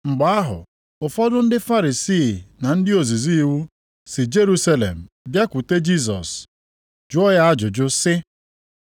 Mgbe ahụ, ụfọdụ ndị Farisii na ndị ozizi iwu si Jerusalem bịakwute Jisọs jụrụ ya ajụjụ sị,